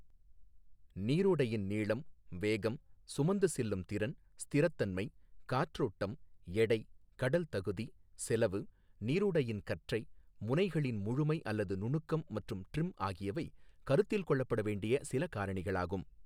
நீரோடையின் நீளம், வேகம், சுமந்து செல்லும் திறன், ஸ்திரத்தன்மை, காற்றோட்டம், எடை, கடல் தகுதி, செலவு, நீரோடையின் கற்றை, முனைகளின் முழுமை அல்லது நுணுக்கம் மற்றும் ட்ரிம் ஆகியவை கருத்தில் கொள்ளப்பட வேண்டிய சில காரணிகளாகும்.